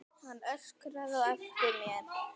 Hann öskraði á eftir mér.